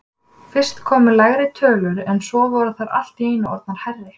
Fyrst komu lægri tölur en svo voru þær allt í einu orðnar hærri.